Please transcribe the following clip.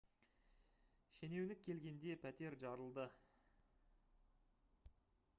шенеунік келгенде пәтер жарылды